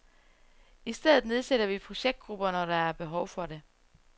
I stedet nedsætter vi projektgrupper, når der er behov for det.